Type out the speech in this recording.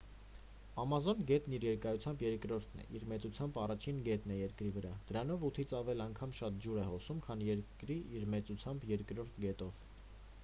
ամազոն գետն իր երկարությամբ երկրորդ իսկ մեծությամբ առաջին գետն է երկրի վրա դրանով 8-ից ավել անգամ շատ ջուր է հոսում քան երկրի իր մեծությամբ երկրորդ գետով